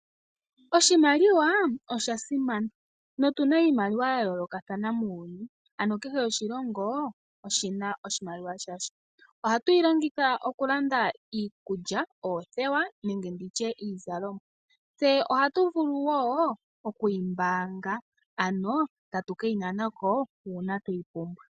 Oshimaliwa osha simana notuna iimaliwa ya yoolokathana muuyuni ano kehe oshilongo oshina oshimaliwa shasho ohatu yi longitha okulanda iikulya ,oothewa niizalomwa ,tse ohatu vulu wo okuyi mbaanga ano tatu keyi nana ko uuna tweyi pumbwa.